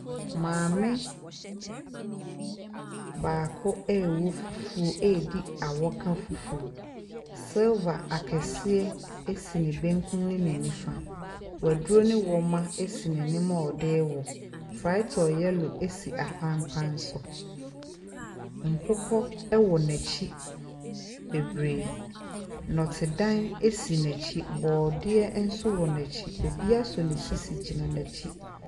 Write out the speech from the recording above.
Maame baako rewɔ fufuo redi awɔka fufuo. Silver akɛseɛ si ne benkum ne ne nifa. Waduro ne wɔma si n'anim a ɔde rewɔ. Frytol yellow si apampam so. Nkokɔ wɔ n'akyi bebree. Nnɔtedan si n'akyi. Borɔdeɛ nso wɔ n'akyi. Obi asɔ ne sisi gyina n'akyi.